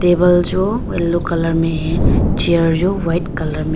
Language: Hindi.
टेबल जो येलो कलर में है चेयर जो व्हाइट कलर में --